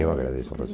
Eu agradeço a